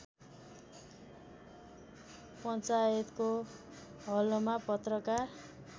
पञ्चायतको हलमा पत्रकार